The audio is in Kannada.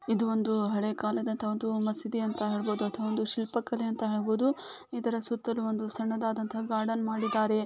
ಇದು ಒಂದು ಹಳೆ ಕಾಲದಂತ ಒಂದು ಮಸೀದಿ ಅಂತ ಹೇಳಬಹುದು. ಅಥವಾ ಒಂದು ಶಿಲ್ಪಕಲೆ ಅಂತ ಹೇಳ್ಬಹುದು. ಇದರ ಸುತ್ತಲೂ ಒಂದು ಸಣ್ಣದಾದಂತ ಗಾರ್ಡೆನ್ ಮಾಡಿದ್ದಾರೆ.